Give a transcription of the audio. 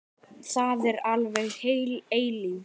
Það er alveg heil eilífð.